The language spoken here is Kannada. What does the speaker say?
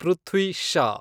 ಪೃಥ್ವಿ ಷಾ